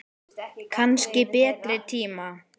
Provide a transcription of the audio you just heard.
Kannski betri tíma.